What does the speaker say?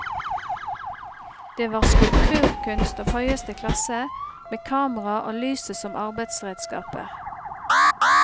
Det var skulpturkunst av høyeste klasse, med kamera og lyset som arbeidsredskaper.